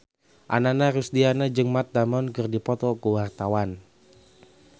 Ananda Rusdiana jeung Matt Damon keur dipoto ku wartawan